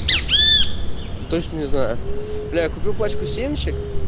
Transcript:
ну точно не знаю бля я купил пачку семечек